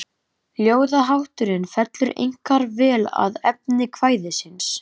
Ljóðahátturinn fellur einkar vel að efni kvæðisins.